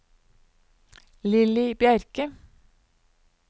Lilly Bjerke